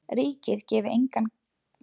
Ríkið gefi engin grið.